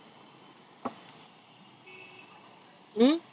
हम्म